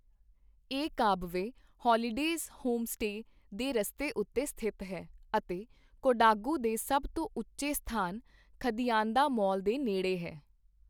ਇਹ ਕਾਬਵੇ holidays homestay ਦੇ ਰਸਤੇ ਉੱਤੇ ਸਥਿਤ ਹੈ ਅਤੇ ਕੋਡਾਗੂ ਦੇ ਸਭ ਤੋਂ ਉੱਚੇ ਸਥਾਨ ਥਦੀਆਂਦਾਮੋਲ ਦੇ ਨੇੜੇ ਹੈ।